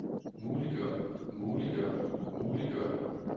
muliggør muliggør muliggør